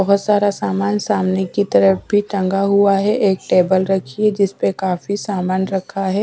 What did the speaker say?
बहुत सारा सामान सामने की तरफ भी टंगा हुआ है एक टेबल रखी है जिस पर काफी सामान रखा है।